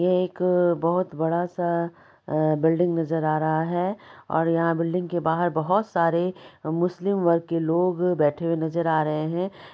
एक बहुत बड़ा-सा बिल्डिंग नजर आ रहा है और यहां बिल्डिंग के बाहर बहुत सारे मुस्लिम वर्ग के लोग बैठे हुए नजर आ रहे है।